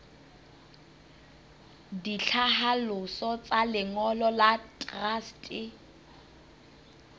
ditlhaloso tsa lengolo la truste